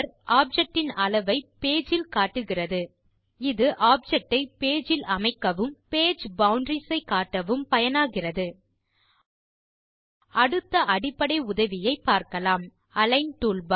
object இன் அளவை page இல் காட்டுகிறது இது ஆப்ஜெக்ட் ஐ பேஜ் இல் அமைக்கவும் பேஜ் பவுண்டரீஸ் ஐ காட்டவும் பயனாகிறது அடுத்த அடிப்படை உதவியை பார்க்கலாம் அலிக்ன் டூல்பார்